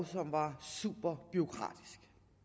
som var superbureaukratisk